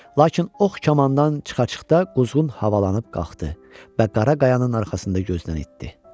Lakin ox kamandan çıxa-çıxda quzğun havalanıb qalxdı və qara qayayanın arxasında gözdən itdi.